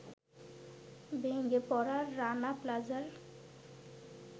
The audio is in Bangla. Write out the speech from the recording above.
ভেঙে পড়া রানা প্লাজার